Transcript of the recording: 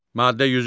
Maddə 103.